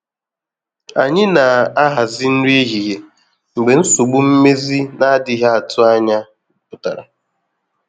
Anyi na ahazi nri ehihie mgbe nsogbu mmezi na-adịghị atụ ànyà pụtara.